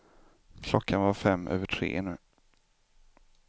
Klockan var fem över tre nu.